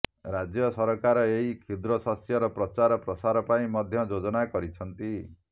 ରାଜ୍ୟ ସରକାର ଏହି କ୍ଷୁଦ୍ର ଶସ୍ୟର ପ୍ରଚାର ପ୍ରସାର ପାଇଁ ମଧ୍ୟ ଯୋଜନା କରିଛନ୍ତି